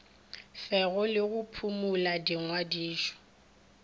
fega le go phumola dingwadišo